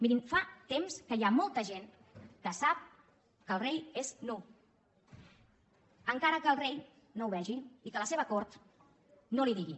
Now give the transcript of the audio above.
mirin fa temps que hi ha molta gent que sap que el rei és nu encara que el rei no ho vegi i que la seva cort no li ho digui